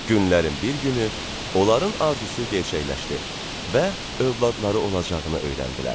Günlərin bir günü onların arzusu gerçəkləşdi və övladları olacağını öyrəndilər.